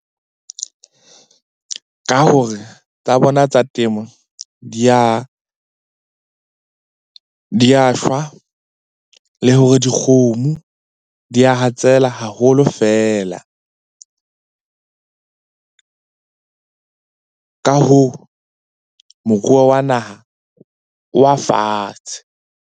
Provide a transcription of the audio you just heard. Ka hore tsa bona tsa temo di a shwa, le hore dikgomo di a hatsela haholo feela. Ka hoo, moruo wa naha o wa fatshe.